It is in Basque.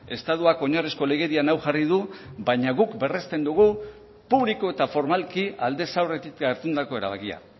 estatuak oinarrizko legedian hau jarri du baina guk berresten dugu publiko eta formalki aldez aurretik hartutako erabakia